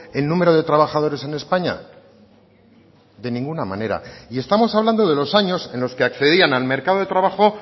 el número de trabajadores en españa de ninguna manera y estamos hablando de los años en los que accedían al mercado de trabajo